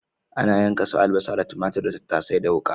Ana yanka su albasa da tumatur da tattasai da wuƙa.